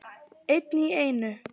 Einn í einu.